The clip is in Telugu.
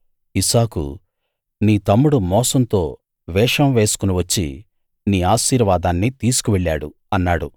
ఇస్సాకు నీ తమ్ముడు మోసంతో వేషం వేసుకుని వచ్చి నీ ఆశీర్వాదాన్ని తీసుకువెళ్ళాడు అన్నాడు